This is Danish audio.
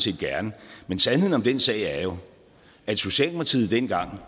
set gerne men sandheden om den sag er jo at socialdemokratiet dengang